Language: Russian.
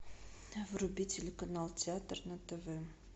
вруби телеканал театр на тв